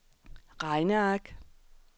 regneark